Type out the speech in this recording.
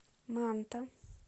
манта